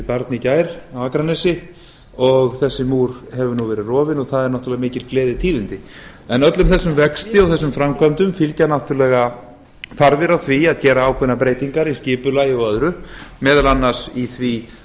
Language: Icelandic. barn í gær á akranesi og þessi múr hefur nú verið rofinn og það eru náttúrlega mál gleðitíðindi öllum þessum vexti og þessum framkvæmdum fylgja náttúrlega þarfir á því að gera ákveðnar breytingar í skipulagi og öðru meðal annars í því